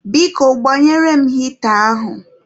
Biko, gbanyere m hịta ahụ.